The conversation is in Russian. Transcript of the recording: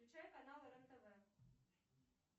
включай канал рен тв